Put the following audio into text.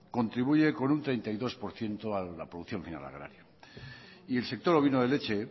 contribuye con un treinta y dos por ciento a la producción final agraria y el sector ovino de leche